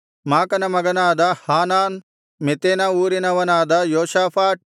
ಮಾಕನ ಮಗನಾದ ಹಾನಾನ್ ಮೆತೆನ ಊರಿನವನಾದ ಯೋಷಾಫಾಟ್